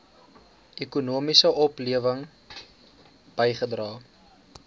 ekonomiese oplewing bygedra